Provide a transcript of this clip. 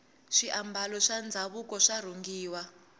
swiambalo swa ndhavuko swa rhungiwa